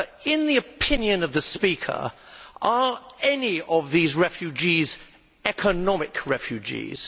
In the opinion of the speaker, are any of these refugees economic refugees?